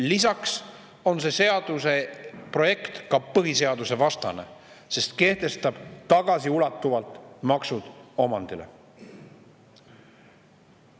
Lisaks on see seaduseprojekt ka põhiseadusevastane, sest kehtestab tagasiulatuvalt maksud omandile.